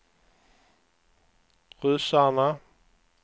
ryssarna